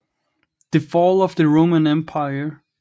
The Fall of the Roman Empire